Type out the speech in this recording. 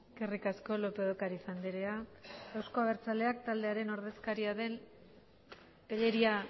eskerrik asko lópez de ocariz andrea euzko abertzaleak taldearen ordezkaria den tellería